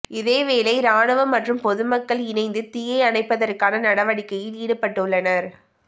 இதேவேளை இராணுவம் மற்றும் பொதுமக்கள் இணைந்து தீயை அணைப்பதற்கான நடவடிக்கையில் ஈடுபட்டுள்ளனர்